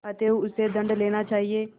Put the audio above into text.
अतएव उससे दंड लेना चाहिए